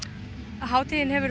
hátíðin hefur